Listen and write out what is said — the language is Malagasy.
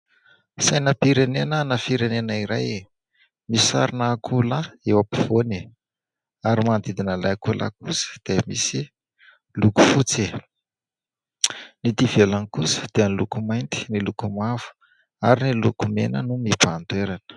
Sainam-pirenena ana firenena iray : misarona akoholahy eo ampovoany ary manodidina ilay akoholahy kosa dia misy loko fotsy, eto ivelany kosa dia ny loko mainty, ny loko mavo ary ny loko mena no mibahan-toerana.